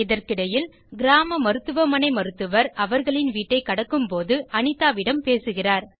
இதற்கிடையில் கிராம மருத்துவமனை மருத்துவர் அவர்களின் வீட்டைக் கடக்கும்போது அனிதாவிடம் பேசுகிறார்